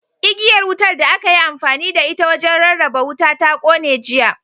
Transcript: Igiyar wutar da aka yi amfani da ita wajen rarraba wuta ta kone, jiya.